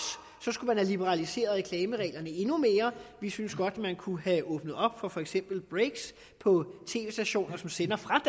skulle man have liberaliseret reklamereglerne endnu mere vi synes godt man kunne have åbnet op for for eksempel breaks på tv stationer som sender fra